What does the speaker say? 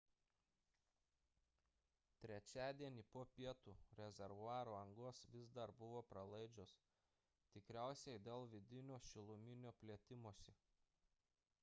trečiadienį po pietų rezervuaro angos vis dar buvo pralaidžios – tikriausiai dėl vidinio šiluminio plėtimosi